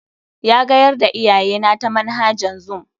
Ya gayar da iyayena ta manhajan zoom.